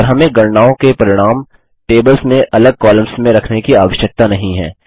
और हमें गणनाओं के परिणाम टेबल्स में अलग कॉलम्स में रखने की आवश्यकता नहीं है